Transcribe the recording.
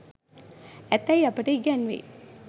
ඇතැයි අපට ඉගැන්වෙයි.